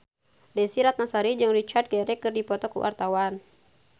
Desy Ratnasari jeung Richard Gere keur dipoto ku wartawan